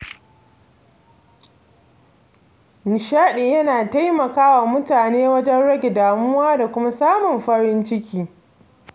Nishadi yana taimaka wa mutane wajen rage damuwa da kuma samun farin ciki.